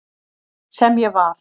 Sem ég var.